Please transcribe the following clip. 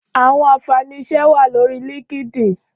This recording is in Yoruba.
Áwòn ànfáni iṣè wá lóri lìnkídìn